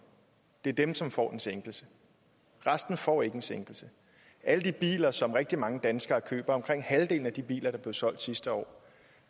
det er dem som får en sænkelse resten får ikke en sænkelse alle de biler som rigtig mange danskere køber omkring halvdelen af de biler der blev solgt sidste år